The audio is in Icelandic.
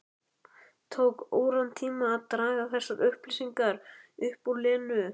Tók óratíma að draga þessar upplýsingar upp úr Lenu.